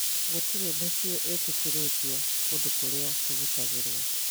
Gũtirĩ mĩciĩ ĩtĩkĩrĩtio kũndũ kũrĩa kũgitagĩrũo